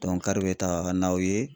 bɛ taga n'aw ye